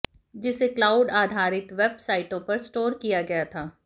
जिसे क्लाउड आधारित वेबसाइटों पर स्टोर किया गया था